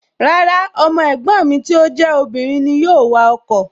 Rárá, ọmọ ẹ̀gbọ́n mi tí ó jẹ́ obìnrin ni yóò wa ọkọ̀